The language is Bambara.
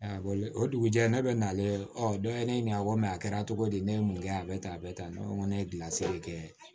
o dugujɛ ne bɛ nale ɔ dɔ ye ne ɲininka a ko mɛ a kɛra cogo di ne ye mun kɛ a bɛ tan a bɛ tan ne ko ne ye gilasi kɛ